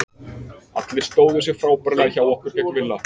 Allir stóðu sig frábærlega hjá okkur gegn Villa.